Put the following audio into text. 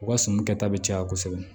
U ka suman kɛ ta bɛ caya kosɛbɛ